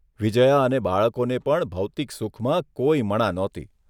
વિજયા અને બાળકોને પણ ભૌતીક સુખમાં કોઇ મણા નહોતી.